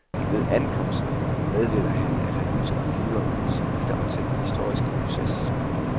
Ved ankomsten meddeler han, at han ønsker at blive og yde sit bidrag til den historiske proces.